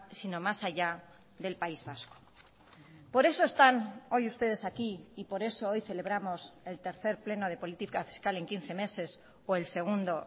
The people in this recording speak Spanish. sino más allá del país vasco por eso están hoy ustedes aquí y por eso hoy celebramos el tercer pleno de política fiscal en quince meses o el segundo